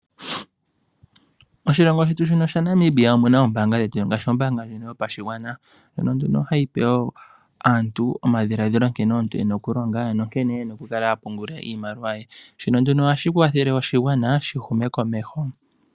Oshilongo shetu shaNamibia omuna oombaanga ngaashi ombaanga yotango yopashigwana. Ohayi pe aantu omadhiladhilo nkene yena okulonga nonkene yena oku kala ya pungula iimaliwa yawo. Ohashi kwathele oshigwana opo shi hume komeho.